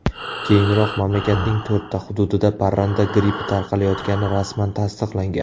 Keyinroq mamlakatning to‘rtta hududida parranda grippi tarqalayotgani rasman tasdiqlangan .